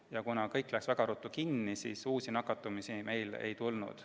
Ja kuna kõik pandi väga ruttu kinni, siis uusi nakatumisi meil ei tulnud.